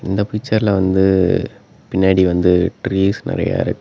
இந்த பிச்சர்ல வந்து பின்னாடி வந்து ட்ரீஸ் நெறையா இருக்கு.